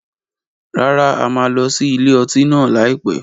Rárá, a máa lọ sí ilé ọtí náà lai pẹ̀.